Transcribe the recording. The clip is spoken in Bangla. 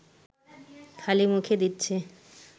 খালি মুখে দিচ্ছে